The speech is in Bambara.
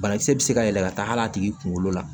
Banakisɛ bɛ se ka yɛlɛ ka taa hal'a tigi kunkolo la